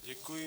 Děkuji.